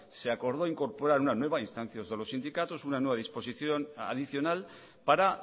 se acordó incorporar una nueva a instancia de los sindicatos una nueva disposición adicional para